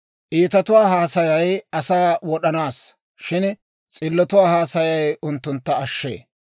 Iitatuwaa haasayay asaa wod'anaassa; shin s'illotuwaa haasayay unttuntta ashshee.